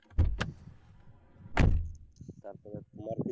তারপরে তোমার,